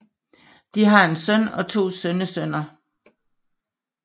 De har en søn og to sønnesønner